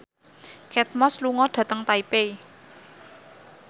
Kate Moss lunga dhateng Taipei